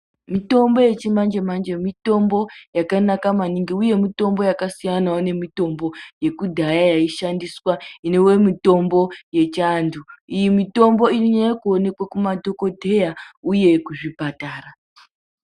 Mitombo yechimanje manje mitombo yakanaka maningi uye mitombo yakasiyana nemitombo yekudhaya yaishandiswa inova mitombo yechiantu. Iyi mitombo inonyanya kuonekwa kumadhokodheya uye kuzvipatara.